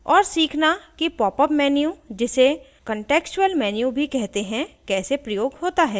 * और सीखना कि popअप menu जिसे contextual menu भी कहते हैं कैसे प्रयोग होता है